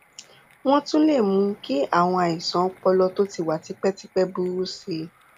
wọn tún lè mú kí àwọn àìsàn ọpọlọ tó ti wà tipẹtipẹ burú sí i